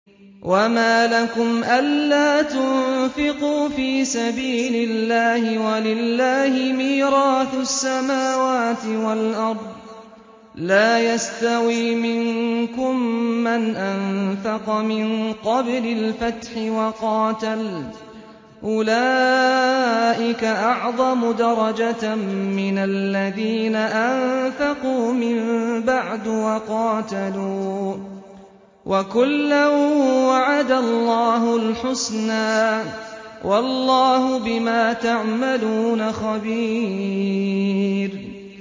وَمَا لَكُمْ أَلَّا تُنفِقُوا فِي سَبِيلِ اللَّهِ وَلِلَّهِ مِيرَاثُ السَّمَاوَاتِ وَالْأَرْضِ ۚ لَا يَسْتَوِي مِنكُم مَّنْ أَنفَقَ مِن قَبْلِ الْفَتْحِ وَقَاتَلَ ۚ أُولَٰئِكَ أَعْظَمُ دَرَجَةً مِّنَ الَّذِينَ أَنفَقُوا مِن بَعْدُ وَقَاتَلُوا ۚ وَكُلًّا وَعَدَ اللَّهُ الْحُسْنَىٰ ۚ وَاللَّهُ بِمَا تَعْمَلُونَ خَبِيرٌ